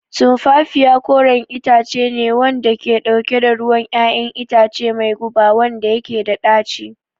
Tumfafiya koren itace ne wanda ke dauke da ruwan 'ya'yan itace mai guba wanda yake da daci